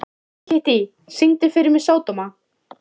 Kittý, syngdu fyrir mig „Sódóma“.